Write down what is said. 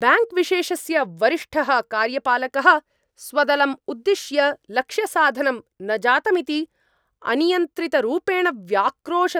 Bank विशेषस्य वरिष्ठः कार्यपालकः स्वदलम् उद्दिश्य लक्ष्यसाधनं न जातमिति अनियन्त्रितरूपेण व्याक्रोशत्।